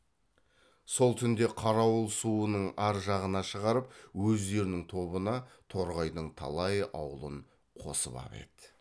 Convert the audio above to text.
сол түнде қарауыл суының ар жағына шығарып өздерінің тобына торғайдың талай аулын қосып ап еді